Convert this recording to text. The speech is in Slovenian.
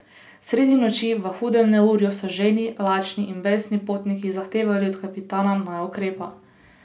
Sredi noči, v hudem neurju, so žejni, lačni in besni potniki zahtevali od kapitana, naj ukrepa.